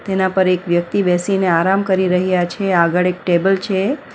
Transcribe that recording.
એના પર એક વ્યક્તિ બેસીને આરામ કરી રહ્યા છે આગળ એક ટેબલ છે.